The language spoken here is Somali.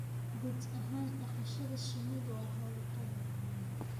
Guud ahaan, dhaqashada shinnidu waa hawlqabad